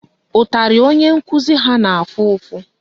Ụtarị onye nkụzi ha na-afụ ụfụ